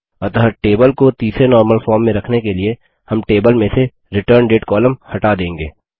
अतः टेबल को तीसरे नॉर्मल फॉर्म में रखने के लिए हम टेबल में से रिटर्नडेट कॉलम हटा देंगे